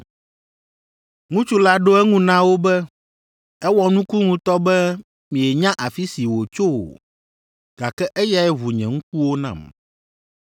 Ŋutsu la ɖo eŋu na wo be, “Ewɔ nuku ŋutɔ be mienya afi si wòtso o, gake eyae ʋu nye ŋkuwo nam.